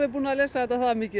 búin að lesa þetta það mikil